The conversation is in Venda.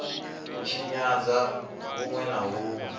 u tshinyadzwa hunwe na hunwe